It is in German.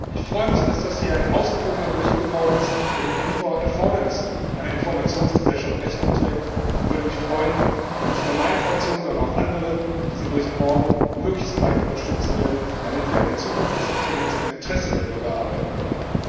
Ich freue mich, dass das hier ein ausgewogener Bericht geworden ist, der den Erfordernissen einer Informationsgesellschaft Rechnung trägt, und würde mich freuen, wenn nicht nur meine Fraktion, sondern auch andere diesen Bericht morgen möglichst breit unterstützen würden, damit wir eine Zukunft des Internets im Interesse der Bürger erarbeiten können.